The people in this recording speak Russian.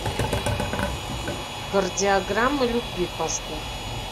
кардиограмма любви поставь